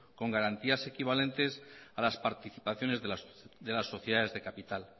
con garantía equivalentes a las participaciones de las sociedades de capital